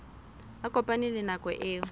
a kopane le nako eo